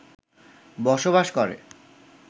বসবাস করে